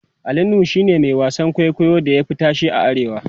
Ali nuhu shine Mai wasan kwaikwayon da ya Fi tashe a arewa